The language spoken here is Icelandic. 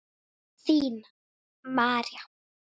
Þín María.